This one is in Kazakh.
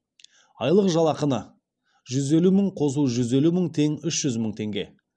айлық жалақыны жүз елу мың қосу жүз елу мың тең үш жүз мың теңге